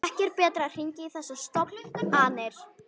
Ekki er betra að hringja í þessar stofn- anir.